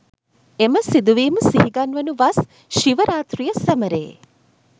එම සිදුවීම සිහිගන්වනු වස් ශිව රාති්‍රය සැමරේ